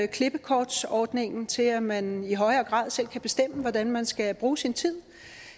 klippekortsordningen til at man i højere grad selv kan bestemme hvordan man skal bruge sin tid